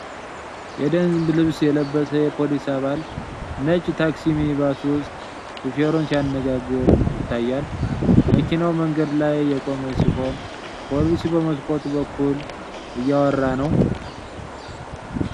የደንብ ልብስ የለበሰ የፖሊስ አባል ነጭ ታክሲ ሚኒባስ ውስጥ ሾፌሩን ሲያነጋግር ይታያል:: መኪናው መንገድ ላይ የቆመ ሲሆን፣ ፖሊሱ በመስኮቱ በኩል እያወራ ነው::